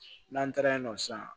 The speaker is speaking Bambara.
N'an taara yen nɔ sisan